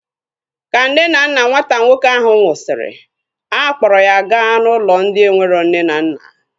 Ka nne na nna nwata nwoke ahu nwụsịrị, a kpọrọ ya gaa n'ụlọ ndị enwero nne na nna